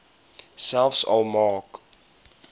selfs al maak